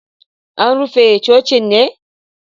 An rufe cocin ne?